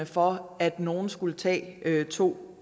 for at nogle skulle tage to